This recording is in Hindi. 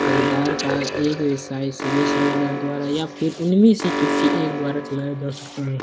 हरीदार का एक विषय सभी हरीदर द्वारा या फिर उन मे किसी एक द्वारा चलाया जा सकते है।